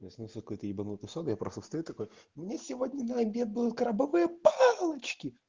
мне снился какой-то ебанутый сон я просто стою такой у меня сегодня на обед будут крабовые палочки